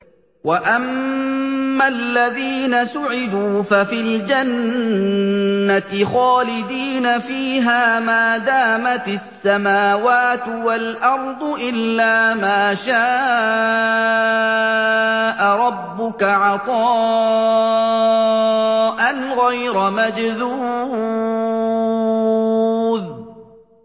۞ وَأَمَّا الَّذِينَ سُعِدُوا فَفِي الْجَنَّةِ خَالِدِينَ فِيهَا مَا دَامَتِ السَّمَاوَاتُ وَالْأَرْضُ إِلَّا مَا شَاءَ رَبُّكَ ۖ عَطَاءً غَيْرَ مَجْذُوذٍ